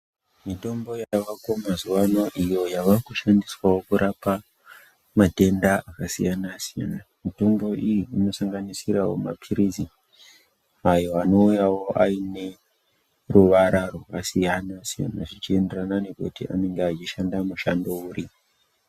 Mitombo yavako mazuwaano iyo yavakushandiswawo kurapa matenda akasiyana-siyana, mitombo iyi inosanganisirawo maphirizi, ayo anouyawo aine, ruvara rwakasiyana- siyana ,zvichienderana nekuti anenga achishanda mushando uri.